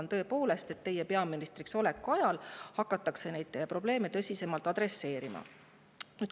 Ma tõepoolest loodan, et teie peaministriks oleku ajal hakatakse neid probleeme tõsisemalt.